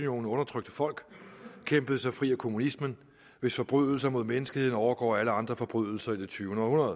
undertrykte folk kæmpede sig fri af kommunismen hvis forbrydelser mod menneskeheden overgår alle andre forbrydelser i det tyvende århundrede